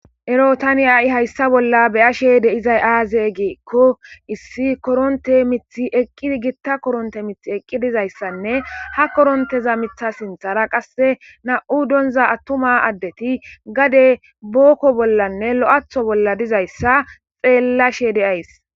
ero tani a7i hayssa bolla beyashe de7izay aaze geekko issi koronte mithi eqqidi gitta koronte mith eqqi dizayssanne ha koronteza mitha sinthara qasse na7u donza attuma addeti gade bookko bollanne lo7aatho bolla dizayssa xeellashe de7ays